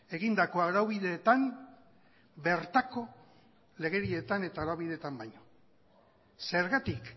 egindako araubideetan bertako legedietan eta araubideetan baino zergatik